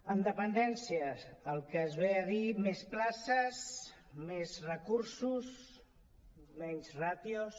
en dependència el que es diu més places més recursos menys ràtios